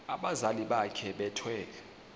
abazali bakhe bethwele